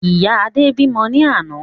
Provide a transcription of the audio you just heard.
Ìyá Adé bímọ ní àná